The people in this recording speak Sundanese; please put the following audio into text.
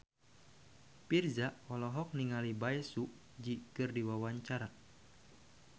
Virzha olohok ningali Bae Su Ji keur diwawancara